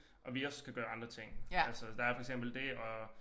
Og vi også kan gøre andre ting altså der er for eksempel det at